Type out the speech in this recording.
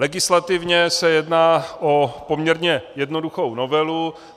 Legislativně se jedná o poměrně jednoduchou novelu.